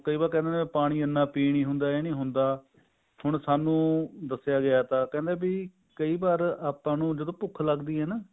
ਕਈ ਵਾਰ ਕਹਿੰਦੇ ਨੇ ਪਾਣੀ ਇੰਨਾ ਪਈ ਨੀ ਹੁੰਦਾ ਇਹ ਨੀ ਹੁੰਦਾ ਹੁਣ ਸਾਨੂੰ ਦੱਸਿਆ ਗਿਆ ਤਾ ਕਹਿੰਦੇ ਵੀ ਕਈ ਵਾਰ ਆਪਾਂ ਨੂੰ ਜਦੋਂ ਭੁੱਖ ਲੱਗਦੀ ਹੈ ਨਾ